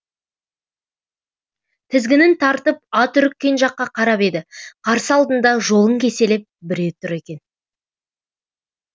тізгінін тартып ат үріккен жаққа қарап еді қарсы алдында жолын кеселеп біреу тұр екен